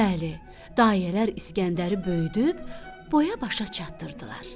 Bəli, dayələr İskəndəri böyüdüb boya-başa çatdırdılar.